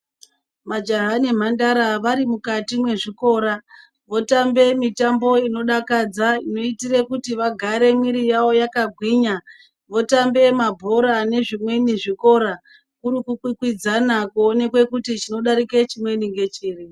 Majaha nemhandara vari mukati mwezvikora votambe mitambo inodakadza inoitire kuti vagare mwiri dzavo dzakagwinya votambe mabhora nezvi mweni zvikora kuri kukwikwidzana kuonekwe kuti chinodarike chimweni ngechiri.